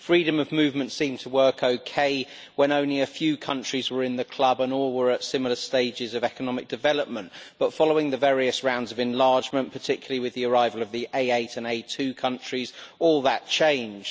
Freedom of movement seemed to work okay when only a few countries were in the club and all were at similar stages of economic development, but following the various rounds of enlargement, particularly with the arrival of the A8 and A2 countries, all that changed.